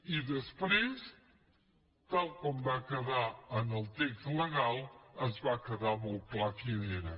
i després tal com va quedar en el text legal va quedar molt clar quin era